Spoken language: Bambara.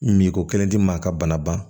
Min ko kelen tɛ maa ka bana ban